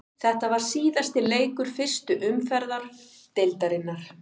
Þetta var síðasti leikur fyrstu umferðar deildarinnar.